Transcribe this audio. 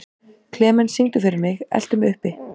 Klemens, syngdu fyrir mig „Eltu mig uppi“.